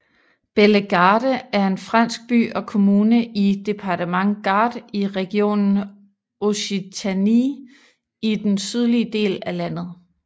Bellegarde er en fransk by og kommune i departementet Gard i regionen Occitanie i den sydlige del af landet